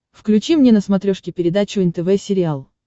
включи мне на смотрешке передачу нтв сериал